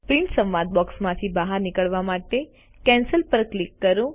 print સંવાદ બોક્સથી બહાર નીકળવા માટે કેન્સલ પર ક્લિક કરો